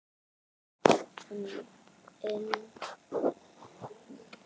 Unn mér!